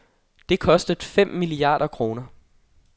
Det kostede fem milliarder kroner.